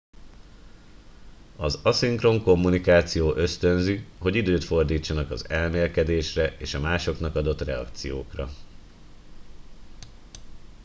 az aszinkron kommunikáció ösztönzi hogy időt fordítsanak az elmélkedésre és a másoknak adott reakciókra